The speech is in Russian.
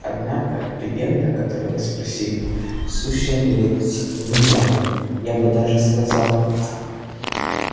однако легенда о которой вы спросили сущая нелепица выдумка я бы даже сказал